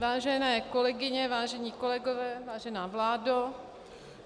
Vážené kolegyně, vážení kolegové, vážená vládo -